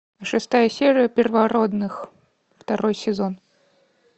шестая серия первородных второй сезон